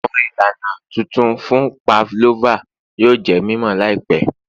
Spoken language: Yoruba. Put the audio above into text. Awọn ilana tuntun fun pavlova yoo jẹ mimọ Lai pẹ